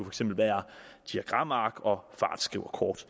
eksempel være diagramark og fartskriverkort